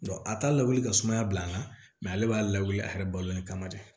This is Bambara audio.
a t'a lawuli ka sumaya bila an na mɛ ale b'a lawuli a yɛrɛ balolen kama dɛ